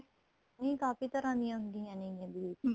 ਨਹੀਂ ਕਾਫੀ ਤਰ੍ਹਾਂ ਦੀਆਂ ਹੁੰਦੀਆਂ ਨੇ bleach